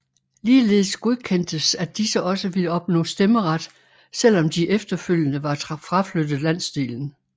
Ligeledes godkendtes at disse også ville opnå stemmeret selvom de efterfølgende var fraflyttet landsdelen